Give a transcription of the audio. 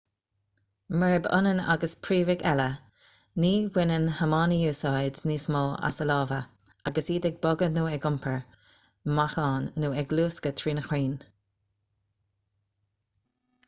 murab ionann agus príomhaigh eile ní bhaineann homainidí úsáid níos mó as a lámha agus iad ag bogadh nó ag iompar meáchain nó ag luascadh trí na crainn